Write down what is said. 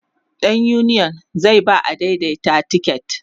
ɗan uniyon zai ba adaidaitan tiket